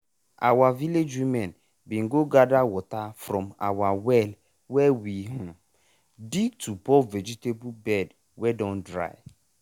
our village women bin go gather water from our well wey we um dig to pour vegetable bed wey don dry.